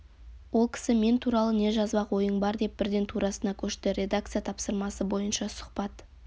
ол кісі мен туралы не жазбақ ойың бар деп бірден турасына көшті редакция тапсырмасы бойынша сұхбат